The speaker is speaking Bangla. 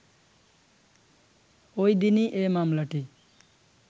ওই দিনই এ মামলাটি